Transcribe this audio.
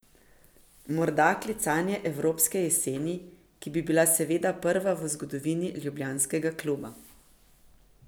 Morda klicanje evropske jeseni, ki bi bila seveda prva v zgodovini ljubljanskega kluba.